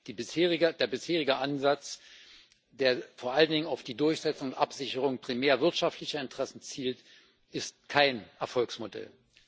Der bisherige Ansatz, der vor allen Dingen auf die Durchsetzung und Absicherung primär wirtschaftlicher Interessen zielt, ist kein Erfolgsmodell.